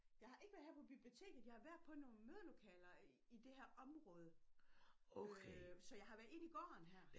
Jeg har ikke været her på biblioteket jeg har været på nogle mødelokaler i det her område øh så jeg har været inde i gården her